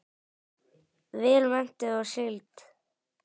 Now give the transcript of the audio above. Vel menntuð og sigld.